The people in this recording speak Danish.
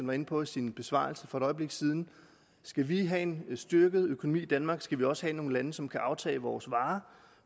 var inde på i sin besvarelse for et øjeblik siden skal vi have en styrket økonomi i danmark skal vi også have nogle lande som kan aftage vores varer